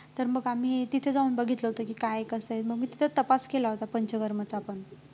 तर मग आम्ही तिथं जाऊन बघितलं होतं की काय कसं आहे मग मी तिथंच तपास केला होता पंचकर्माचा पण